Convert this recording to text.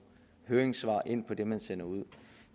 høringssvar ind til det man sender ud